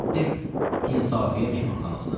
Getdim İnsafiyə mehmanxanasına.